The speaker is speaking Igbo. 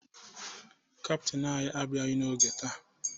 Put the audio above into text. Kaptịn anyị abịaghị n'oge taa